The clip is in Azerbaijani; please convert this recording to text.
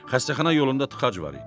Xəstəxana yolunda tıxac var idi.